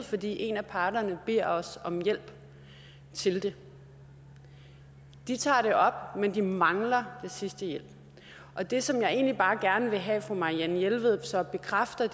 fordi en af parterne beder os om hjælp til det de tager det de mangler den sidste hjælp og det som jeg egentlig bare gerne vil have at fru marianne jelved så bekræfter